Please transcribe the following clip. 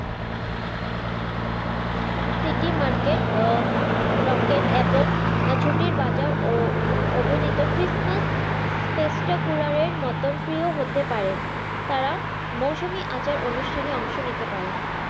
City market আহ rocket এবং ছুটির বাজার অভিনিতা christmas সেপ্তা কুলের মত প্রিয় হতে পারে তারা মৌসুমি আচার অনুষ্ঠানে অংশ নিতে পারে